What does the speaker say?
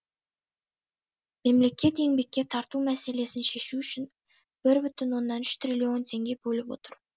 мемлекет еңбекке тарту мәселесін шешу үшін бір бүтін оннан үш триллион теңге бөліп отыр